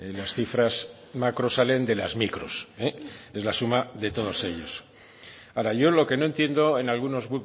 las cifras macro salen de las micros es la suma de todos ellos ahora yo lo que no entiendo en algunos